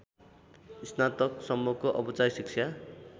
स्नातकसम्मको औपचारिक शिक्षा